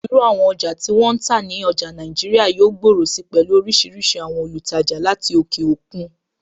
Irú àwọn ọjà tí wọ́n ń tà ní ọjà Nàìjíríà yóò gbòòrò si pẹ̀lú oríṣiríṣi àwọn olùtajà láti òkè òkun.